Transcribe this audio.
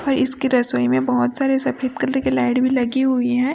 और इसकी रसोई में बहुत सारे सफेद कलर के लाइट भी लगी हुई है।